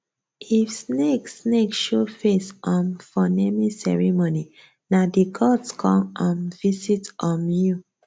if snake snake show face um for naming ceremony nah the gods con um visit um you